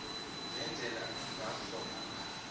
ngendlela angakghona ngayo